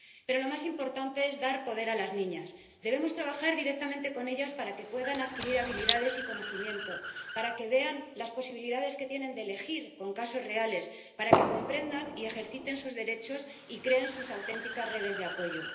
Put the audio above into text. Pero lo más importante es dar poder a las niñas. Debemos trabajar directamente con ellas para que puedan adquirir habilidades y conocimiento, para que vean las posibilidades que tienen de elegir con casos reales, para que comprendan y ejerciten sus derechos y creen sus auténticas redes de apoyo.